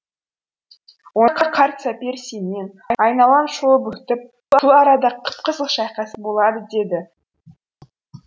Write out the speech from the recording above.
онда қарт сапер семен айналаны шолып өтіп бұл арада қып қызыл шайқас болады деді